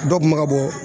Dɔ kun bɛ ka bɔ